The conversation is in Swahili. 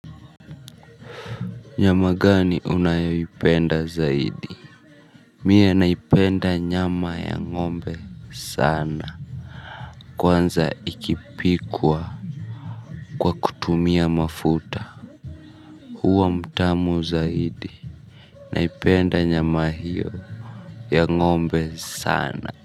Nyama gani unayopenda zaidi. Mie naipenda nyama ya ngombe sana. Kwanza ikipikwa kwa kutumia mafuta huwa mtamu zaidi. Naipenda nyama hiyo ya ngombe sana.